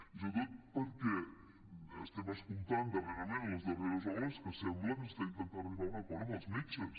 i sobretot perquè estem escoltant darrerament les darreres hores que sembla que s’està intentant arribar a un acord amb els metges